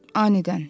Anidən.